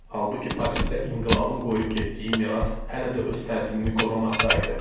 Halbuki Parisdə inqilabın qoyub getdiyi miras hələ də öz təsirini qorumaqda idi.